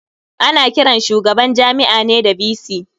Ana kiran shugaban Jami'a ne da "VC".